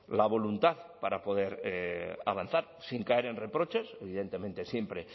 la voluntad para poder avanzar sin caer en reproches evidentemente siempre